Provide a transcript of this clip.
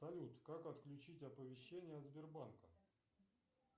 салют как отключить оповещение сбербанка